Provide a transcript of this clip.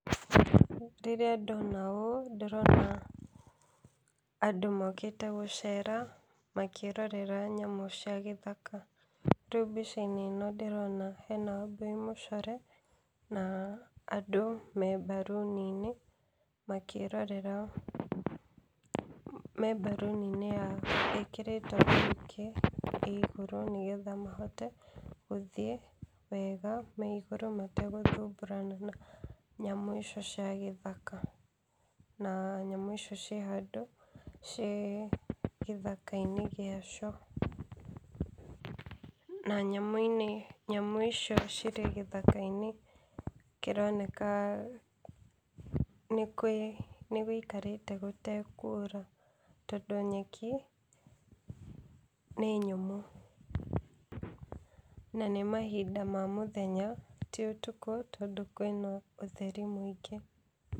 Rĩrĩa ndona ũũ ndĩrona andũ mokĩte gũcera makĩrorera nyamũ cia githaka. Rĩu mbica-inĩ ĩno ndĩrona hena Wambũi mũcore na andũ me mbaruni-inĩ makĩrorera, me mbaruni-inĩ ĩkĩrĩtwo ĩ igũrũ nĩgetha mahote gũthiĩ wega me igũrũ mategũthumbũrana na nyamũ icio cia githaka. Na nyamũ icio ciĩ handũ ciĩ gĩthaka-inĩ gĩacio na nyamu-inĩ, nyamũ icio cirĩ gĩthaka-inĩ kĩroneka nĩ gwĩikarĩte gũtekura tondũ nyeki nĩ nyũmũ na nĩ mahinda ma mũthenya ti ũtukũ tondũ kwĩna ũtheri mũingĩ.